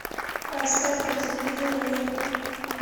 поставь на телевизоре мир